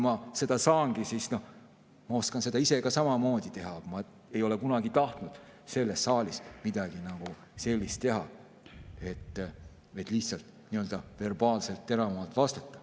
Ma oskan ise ka samamoodi teha, aga ma ei ole kunagi tahtnud selles saalis midagi sellist teha, et lihtsalt nii-öelda verbaalselt teravamalt vastata.